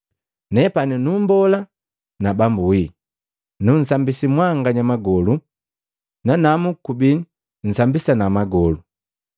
Nepani numbola na Bambu wii, nunsambisi mwanganya magolu, nanamu kubidi nsambisana magolu.